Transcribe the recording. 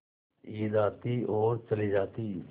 ईद आती और चली जाती